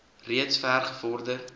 reeds ver gevorder